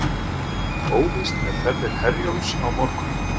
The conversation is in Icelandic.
Óvíst með ferðir Herjólfs á morgun